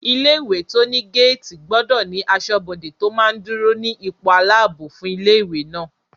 Ilé-ìwé tó ní géètì gbọdọ̀ ní asọ́bodè tó máa dúró ní ipò aláàbò fún ilé-ìwé náà